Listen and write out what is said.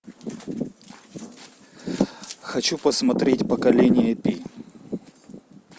хочу посмотреть поколение пи